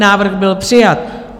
Návrh byl přijat.